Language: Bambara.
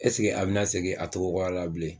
a bina segin a togo kɔrɔ la bilen ?